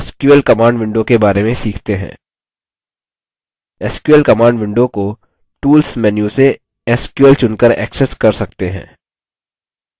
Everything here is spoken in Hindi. sql command window को tools menu से sql चुनकर accessed कर सकते हैं